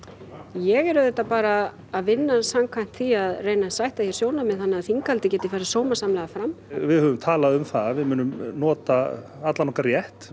ég er auðvitað bara að vinna samkvæmt því að reyna að sætta hér sjónarmið þannig að þinghaldið geti farið sómasamlega fram við höfum talað um það að við munum nota allan okkar rétt